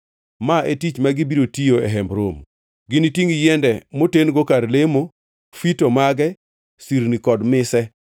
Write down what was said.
Ma e tich ma gibiro tiyo e Hemb Romo: ginitingʼ yiende moten-go kar lemo, fito mage, sirni kod mise,